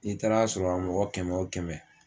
N'i taara sɔrɔ a mɔgɔ kɛmɛ o kɛmɛ